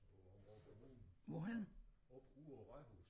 På Aabenraa kommune oppe ude på rådhuset